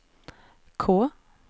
K